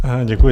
Děkuji.